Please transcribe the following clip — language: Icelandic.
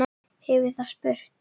hefur það spurt.